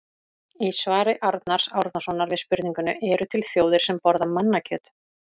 Í svari Arnars Árnasonar við spurningunni Eru til þjóðir sem borða mannakjöt?